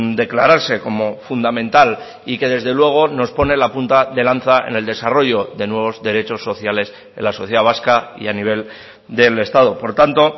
declararse como fundamental y que desde luego nos pone la punta de lanza en el desarrollo de nuevos derechos sociales en la sociedad vasca y a nivel del estado por tanto